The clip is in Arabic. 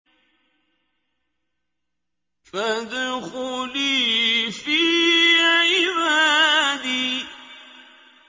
فَادْخُلِي فِي عِبَادِي